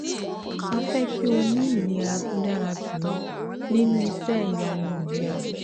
A fẹ́ kí o ní ìlera tó dára jù lọ nínú iṣẹ́ ìyanu ìlera